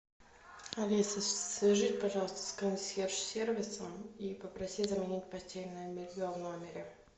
алиса свяжись пожалуйста с консьерж сервисом и попроси заменить постельное белье в номере